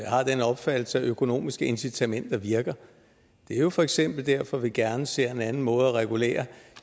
har den opfattelse at økonomiske incitamenter virker det er for eksempel derfor vi gerne ser en anden måde at regulere